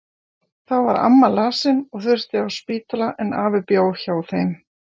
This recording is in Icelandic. Þá var amma lasin og þurfti á spítala, en afi bjó hjá þeim.